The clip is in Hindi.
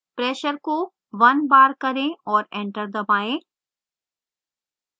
pressure को 1 bar करें और enter दबाएँ